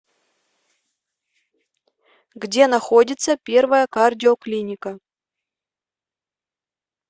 где находится первая кардиоклиника